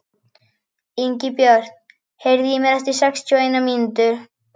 Ingibjört, heyrðu í mér eftir sextíu og eina mínútur.